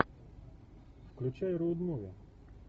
включай роуд муви